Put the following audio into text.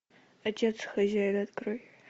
отец хозяин открой